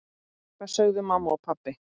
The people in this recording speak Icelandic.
Hvað sögðu mamma og pabbi?